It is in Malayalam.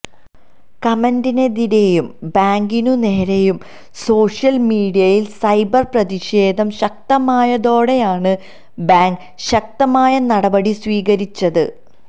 കമന്റിനെതിരെയും ബാങ്കിനു നേരെയും സോഷ്യല് മീഡിയയില് സൈബര് പ്രതിഷേധം ശക്തമായതോടെയാണു ബാങ്ക് ശക്തമായ നടപടി സ്വീകരിച്ചത്